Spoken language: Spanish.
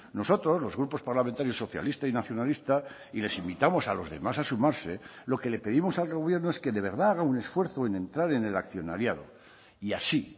nosotros los grupos parlamentarios socialista y nacionalista y les invitamos a los demás a sumarse lo que le pedimos al gobierno es que de verdad haga un esfuerzo en entrar en el accionariado y así